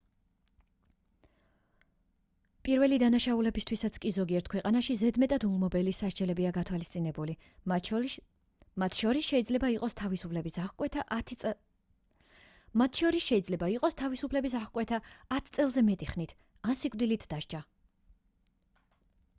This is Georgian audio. პირველი დანაშაულებისთვისაც კი ზოგიერთ ქვეყანაში ზედმეტად ულმობელი სასჯელებია გათვალისწინებული მათ შორის შეიძლება იყოს თავისუფლების აღკვეთა 10 წელზე მეტი ხნით ან სიკვდილით დასჯა